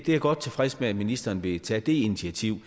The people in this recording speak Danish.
er godt tilfreds med at ministeren vil tage det initiativ